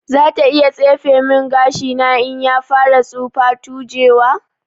Zata iya tsefe min gashina in ya fara tsufa/tujewa.